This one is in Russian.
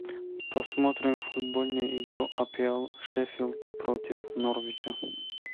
посмотрим футбольную игру апл шеффилд против норвича